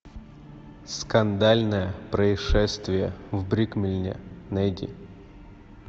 скандальное происшествие в брикмилле найди